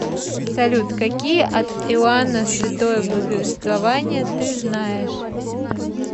салют какие от иоанна святое благовествование ты знаешь